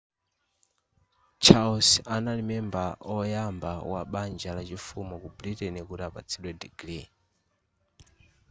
charles anali membala oyamba wa banja la chifumu ku britain kuti apatsidwe digiri